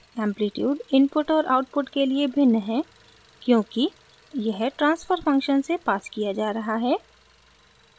amplitude input और output के लिए भिन्न है क्योंकि यह ट्रांसफर फंक्शन से पास किया जा रहा है